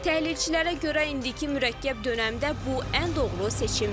Təhlilçilərə görə indiki mürəkkəb dönəmdə bu ən doğru seçimdir.